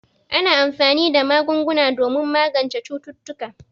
Ana anfani da magunguna domin magance cututtuka.